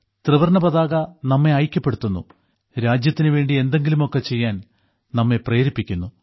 ത്രിവർണ്ണ പതാക നമ്മെ ഐക്യപ്പെടുത്തുന്നു രാജ്യത്തിനുവേണ്ടി എന്തെങ്കിലും ഒക്കെ ചെയ്യാൻ നമ്മെ പ്രേരിപ്പിക്കുന്നു